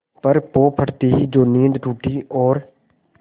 पर पौ फटते ही जो नींद टूटी और